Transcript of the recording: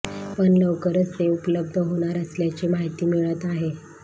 पण लवकरच ते उपलब्ध होणार असल्याची माहिती मिळत आहे